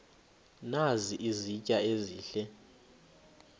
nazi izitya ezihle